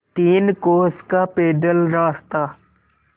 तीन कोस का पैदल रास्ता